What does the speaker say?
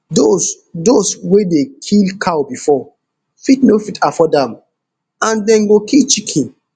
dose dose wey dey kill cow bifor fit no fit afford am and dem go kill chicken